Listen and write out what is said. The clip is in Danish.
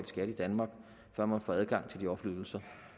skat i danmark før man får adgang til de offentlige ydelser